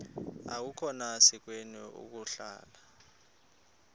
akukhona sikweni ukuhlala